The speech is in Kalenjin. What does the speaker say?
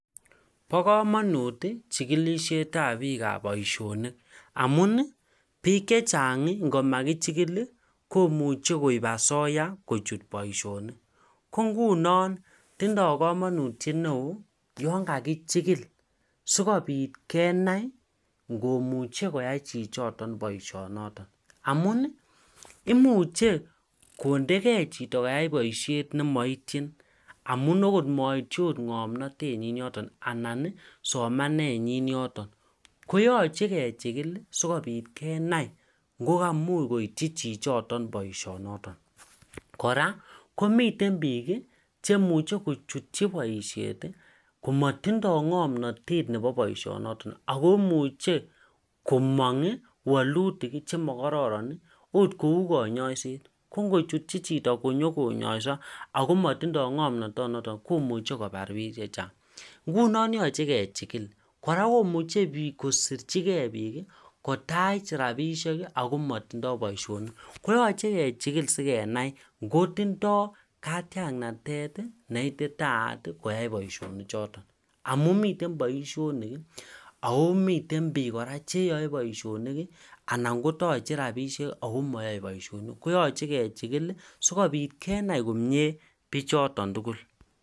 Bo komonut chigilisietab poisionikamun biik chechang ingomakichigil komuche koib asoya kochut boisionik ko ngunon tindo komonutyet ne oo yon kakichigil sukobiit kenai ingomuche koyai chito boisioniton amun imuchel kontegei chito koyai boisiet ne moityin amun moityin okot ngomnotenyin yoton anan somanenyi yoton koyoche kechigil sikobit kenai ingomuche koyai boisioniton kora komiten biik chemuche kochutyi boisiet komotinye ngomnotet nebo boisionoton ako imuchel komong walutik che mokororon ot kou konyosiet ko ngochutyi chito konyongonyosi ako motinye ngamnatanoton noton komuche kobar biik chechang ingunon yoche kechigil kora komuche kosisjigei biik kotach rapisiek Ako motindoi boisionik ingunon yoche kechigil sikobit kenai ingotindoi Katiaknatet ne ititaaat koyai boisioniton amun miten boisionik ako miten biik kora cheyoe boisionik anan kotoche rapisiek ako moyoe boisionik koyoche kechigil sikobit kenai bichoton tugul